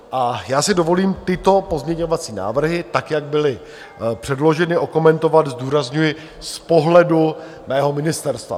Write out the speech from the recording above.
A já si dovolím tyto pozměňovací návrhy, tak jak byly předloženy, okomentovat, zdůrazňuji, z pohledu mého ministerstva.